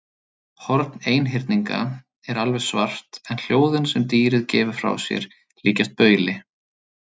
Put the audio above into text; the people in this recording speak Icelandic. Horn einhyrninga er alveg svart en hljóðin sem dýrið gefur frá sér líkjast bauli.